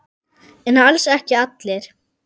En alls ekki allir.